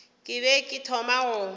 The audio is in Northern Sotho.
ke be ke thoma go